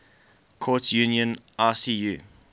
courts union icu